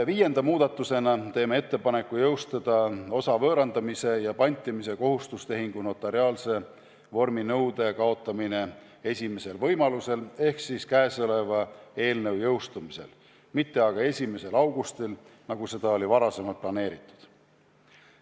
Viienda muudatusena teeme ettepaneku jõustada osa võõrandamise ja pantimise kohustustehingu notariaalse vorminõude kaotamine esimesel võimalusel ehk siis käesoleva eelnõu jõustumisel, mitte 1. augustil, nagu oli varem planeeritud.